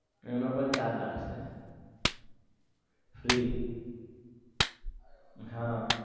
એ નો પણ charge લાગશે free હા